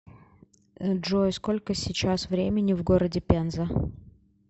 джой сколько сейчас времени в городе пенза